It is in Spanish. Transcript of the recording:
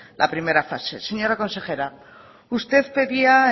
la primera fase señora consejera usted pedía